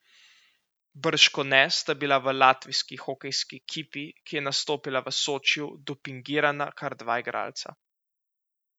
Bržkone sta bila v latvijski hokejski ekipi, ki je nastopila v Sočiju, dopingirana kar dva igralca.